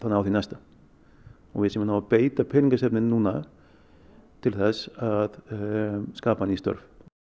á því næsta við séum að ná að beita peningastefnunni núna til þess að skapa ný störf